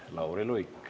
Lauri Luik.